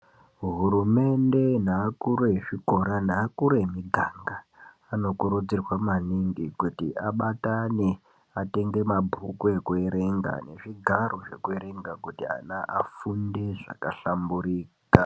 Hurumende neakuru ezvikora neakuru emiganga anokurudzirwa maningi kuti abatane atenge mabhuku ekuerenga nezvigaro zvekuerenga kuti ana afunde zvakahlamburika.